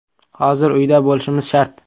Hozir uyda bo‘lishimiz shart.